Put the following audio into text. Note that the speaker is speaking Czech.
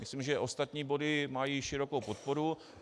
Myslím, že ostatní body mají širokou podporu.